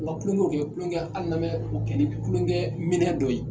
U ka kulonkɛw kɛ kulonkɛ hali n'an bɛ o kɛ ni kulonkɛ minɛn dɔ ye.